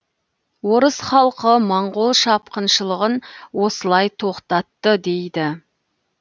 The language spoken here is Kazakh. орыс халқы моңғол шапқыншылығын осылай тоқтатты дейді